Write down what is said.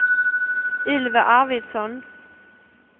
Ylva Arvidsson